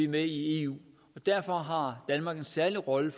med i eu og derfor har danmark en særlig rolle